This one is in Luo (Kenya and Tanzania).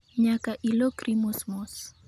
Nyaka ilokri mos mos